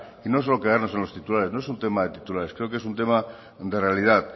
y no solo quedarnos en los titulares no es un tema de titulares creo que es un tema de realidad